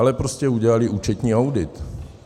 Ale prostě udělali účetní audit.